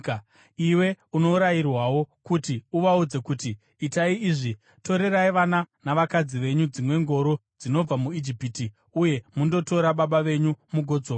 “Iwe unorayirwawo kuti uvaudze kuti, ‘Itai izvi: Torerai vana navakadzi venyu dzimwe ngoro dzinobva muIjipiti uye mundotora baba venyu mugodzoka.